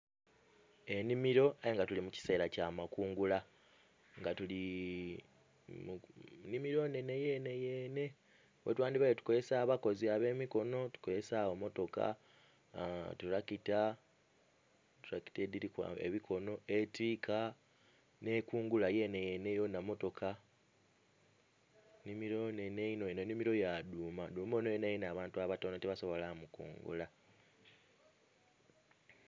Enhimilo aye nga tuli mukiseera kya makungula nga tuli mu nhimilo ennhenhe yenheyenhe ghetwandibaire tukozesa abakozi abemikono tukozesaagho motoka tulakita, tulakita edhiriku ebikono netiika ne enkungula yenheyenhe yona motoka nhimilo inhenhe inho eno inhimilo ya dhuuma, dhuuma ono yenayena abantu abatono tibasobola mukungura